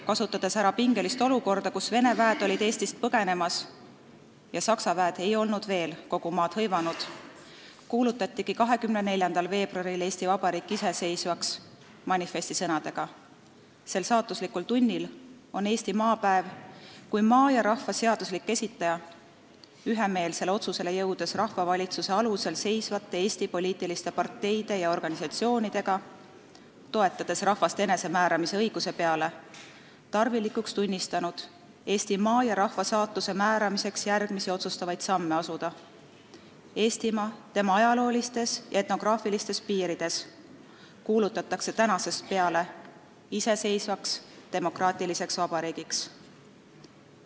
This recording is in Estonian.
Kasutades ära pingelist olukorda, kus Vene väed olid Eestist põgenemas ja Saksa väed ei olnud veel kogu maad hõivanud, kuulutatigi 24. veebruaril Eesti Vabariik iseseisvaks manifesti sõnadega "Sel saatuslikul tunnil on Eesti Maapäev kui maa ja rahva seaduslik esitaja, ühemeelsele otsusele jõudes rahvavalitsuse alusel seisvate Eesti politiliste parteidega ja organisatsionidega, toetades rahvaste enesemääramise õiguse peale, tarvilikuks tunnistanud Eesti maa ja rahva saatuse määramiseks järgmisi otsustavaid samme astuda: Eestimaa, tema ajaloolistes ja etnograafilistes piirides, kuulutatakse tänasest peale iseseisvaks demokratliseks vabariigiks.